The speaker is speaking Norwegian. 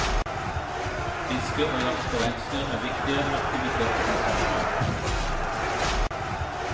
Fiske og jakt på reinsdyr er viktige aktiviteter om sommeren.